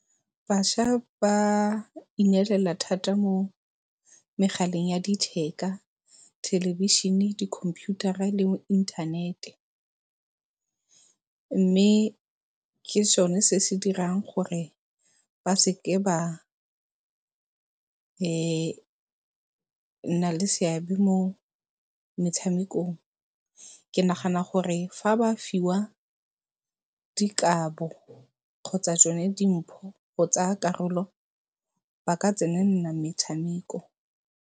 Bašwa ba ineelela thata mo megaleng ya letheka, thelebishene, dikhomputara le inthanete mme ke sone se se dirang gore ba seke ba nna le seabe mo metshamekong. Ke nagana gore fa ba fiwa dikabo kgotsa tsone dimpho go tsaya karolo ba ka tsenelela metshameko.